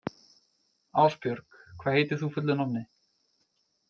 Ásbjörg, hvað heitir þú fullu nafni?